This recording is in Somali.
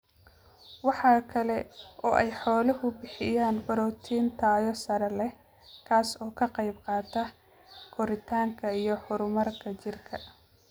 Waxaa kala oo ay xooluhu bixiyaan borotiin tayo sare leh, kaas oo ka qayb qaata koritaanka iyo horumarka jidhka.